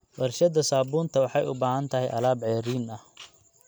Warshada saabuunta waxay u baahan tahay alaab ceeriin ah.